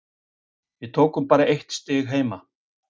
Við tókum bara eitt stig heima.